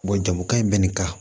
jagokan in bɛ nin kan